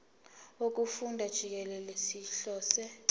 wokufunda jikelele sihlose